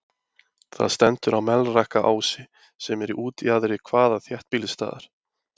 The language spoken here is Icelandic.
Það stendur á Melrakkaási, sem er í útjaðri hvaða þéttbýlisstaðar?